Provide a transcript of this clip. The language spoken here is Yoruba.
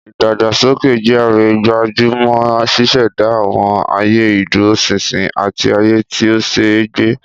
Ìdàgbàsókè GRA gbájú mọ́ ṣíṣẹ̀dá àwọn ààyè ìdúróṣinṣin àti ààyè tí ó ṣe é gbé.